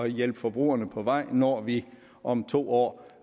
hjælpe forbrugerne på vej når vi om to år